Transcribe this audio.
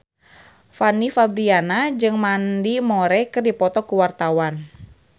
Fanny Fabriana jeung Mandy Moore keur dipoto ku wartawan